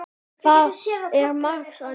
Þar er margs að njóta.